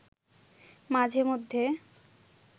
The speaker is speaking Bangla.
মাঝে মধ্যে